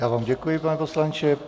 Já vám děkuji, pane poslanče.